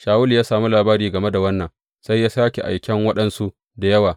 Shawulu ya sami labari game da wannan, sai ya sāke aiken waɗansu da yawa.